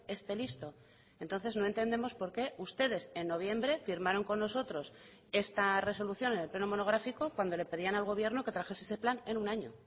esté listo entonces no entendemos por qué ustedes en noviembre firmaron con nosotros esta resolución en el pleno monográfico cuando le pedían al gobierno que trajese ese plan en un año